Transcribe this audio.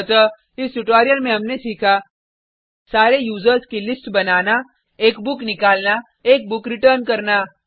अतः इस ट्यूटोरियल में हमने सीखा सारे यूज़र्स की लिस्ट बनाना एक बुक इशू करना एक बुक रिटर्न करना